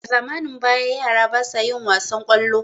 a zamanin baya yara basa yin wasan kwallo